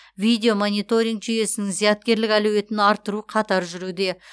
видеомониторинг жүйесінің зияткерлік әлеуетін арттыру қатар жүруде